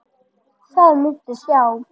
Það muntu sjá.